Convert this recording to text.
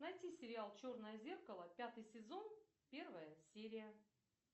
найти сериал черное зеркало пятый сезон первая серия